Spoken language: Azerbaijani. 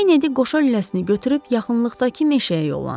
Kennedy qoşa lüləsini götürüb yaxınlıqdakı meşəyə yollandı.